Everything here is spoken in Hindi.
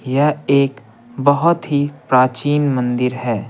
यह एक बहुत ही प्राचीन मंदिर है।